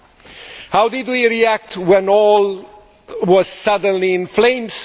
Then, how did we react when all was suddenly in flames?